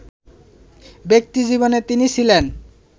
ব্যক্তিজীবনে তিনি ছিলেন